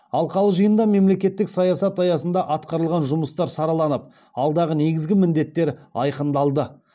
алқалы жиында мемлекеттік саясат аясында атқарылған жұмыстар сараланып алдағы негізгі міндеттер айқындалды